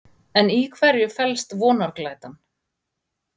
En í hverju felst vonarglætan?